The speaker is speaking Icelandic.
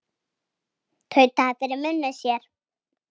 Tautaði fyrir munni sér.